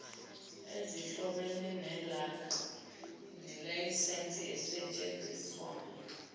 ezihlobene nelayisense esetshenziswayo